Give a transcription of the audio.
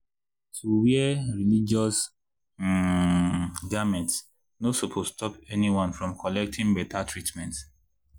.— to wear religious um garment no supose stop anyone from collecting better treatment.